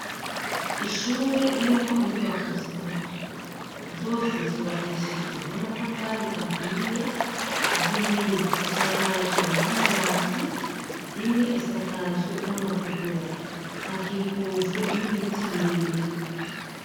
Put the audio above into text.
ishure irimwo inyubako zitatu zose zubakishijwe n'amatafari ahiye zibiri zisakajwe n'amabati imwe isakajwe n'amategura hakikujwe n'ibiti birebiri